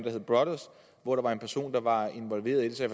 hedder brothers hvor der var en person der var involveret i det så